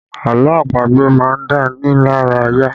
Àlọ́ àpagbè má ń dá ni lára yá